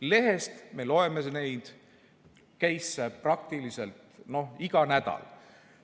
Lehest me loeme nende keisside kohta praktiliselt iga nädal.